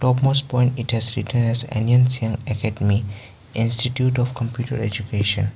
most point it has written as ane sian academy institute of computer education.